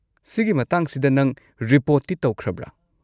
ꯁꯤꯒꯤ ꯃꯇꯥꯡꯁꯤꯗ ꯅꯪ ꯔꯤꯄꯣꯔꯠꯇꯤ ꯇꯧꯈ꯭ꯔꯕ꯭ꯔꯥ?